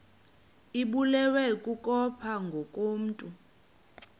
ibulewe kukopha ngokomntu